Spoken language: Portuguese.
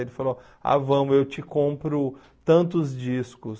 Aí ele falou, ah, vamos, eu te compro tantos discos.